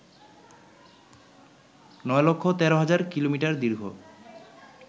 ৯১৩০০০ কিমি দীর্ঘ